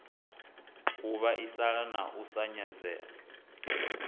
u vhaisala na u nyadzea